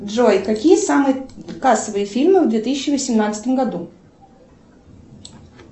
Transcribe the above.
джой какие самые кассовые фильмы в две тысячи восемнадцатом году